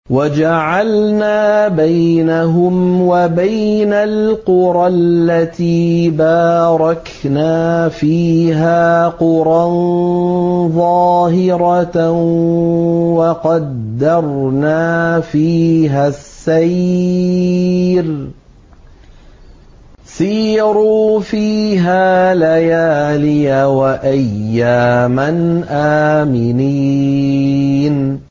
وَجَعَلْنَا بَيْنَهُمْ وَبَيْنَ الْقُرَى الَّتِي بَارَكْنَا فِيهَا قُرًى ظَاهِرَةً وَقَدَّرْنَا فِيهَا السَّيْرَ ۖ سِيرُوا فِيهَا لَيَالِيَ وَأَيَّامًا آمِنِينَ